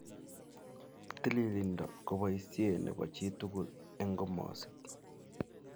Tililindo ko boisie ne bo chi tugul eng komosik.